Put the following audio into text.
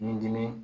Ni dimi